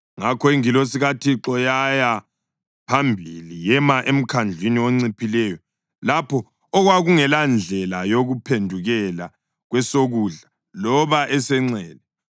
Ngakho ingilosi kaThixo yaya phambili yema emkhandlwini onciphileyo lapho okwakungelandlela yokuphendukela kwesokudla loba esenxele.